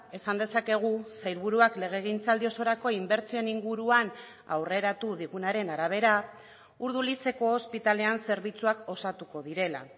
esan dezakegu sailburuak legegintzaldi osorako inbertsioen inguruan aurreratu digunaren arabera urdulizeko ospitalean zerbitzuak osatuko direla